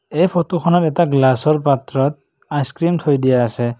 এই ফটোখনত এটা গ্লাচৰ পাত্ৰত আইচ ক্ৰীম থৈ দিয়া আছে।